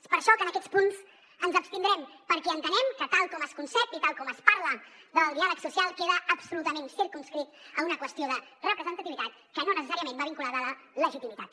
és per això que en aquests punts ens abstindrem perquè entenem que tal com es concep i tal com es parla del diàleg social queda absolutament circumscrit a una qüestió de representativitat que no necessàriament va vinculada a la legitimitat